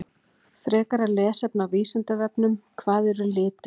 Frekara lesefni á Vísindavefnum: Hvað eru litir?